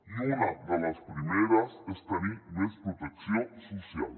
i una de les primeres és tenir més protecció social